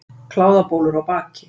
Kláðabólur á baki.